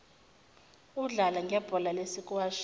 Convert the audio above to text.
udlale ngebhola lesikwashi